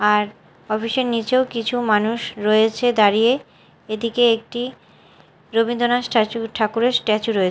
আর office -এর নীচেও কিছু মানুষ রয়েছে দাঁড়িয়ে এটিকে একটি রবীন্দ্রনাস্ স্ট্যাচু ঠাকুরের স্ট্যাচু রয়ে--